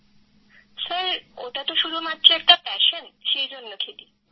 Krittika sir ওটা তো শুধুমাত্র একটা প্যাশন সেই জন্যে খেলি